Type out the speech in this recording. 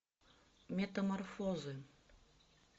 метаморфозы